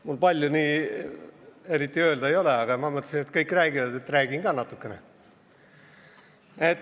Mul palju eriti öelda ei ole, aga ma mõtlesin, et kõik räägivad, räägin ka natukene.